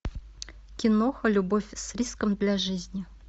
киноха любовь с риском для жизни